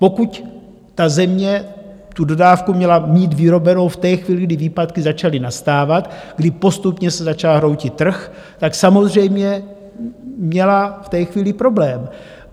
Pokud ta země tu dodávku měla mít vyrobenu v té chvíli, kdy výpadky začaly nastávat, kdy postupně se začal hroutit trh, tak samozřejmě měla v té chvíli problém.